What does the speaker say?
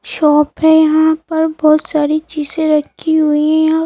Shop है यहां पर बहुत सारी चीजें रखी हुई है।